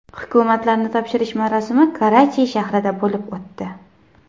Hukumatlarni topshirish marosimi Karachi shahrida bo‘lib o‘tdi.